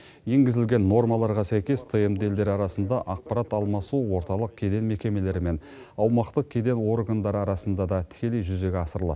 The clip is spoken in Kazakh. енгізілген нормаларға сәйкес тмд елдері арасында ақпарат алмасу орталық кеден мекемелері мен аумақтық кеден органдары арасында да тікелей жүзеге асырылады